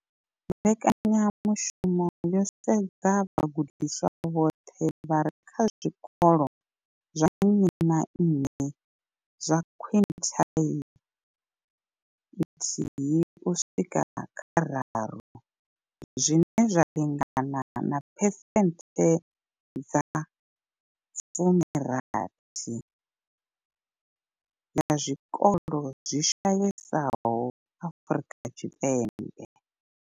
Mbekanyamushumo yo sedza vhagudiswa vhoṱhe vha re kha zwikolo zwa nnyi na nnyi zwa quintile nthihi uswika kha raru, zwine zwa lingana na phesenthe dza 60 ya zwikolo zwi shayesaho Afrika Tshipembe.